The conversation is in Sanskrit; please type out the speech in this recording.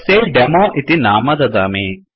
तस्यै डेमो इति नाम ददामि